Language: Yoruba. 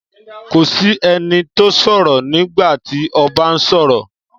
Kò sí ẹni tó sọ̀rọ̀ nígbà tí ọba ń sọ̀rọ̀.